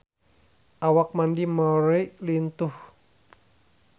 Awak Mandy Moore lintuh